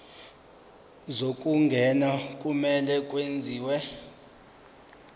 zokungena kumele kwenziwe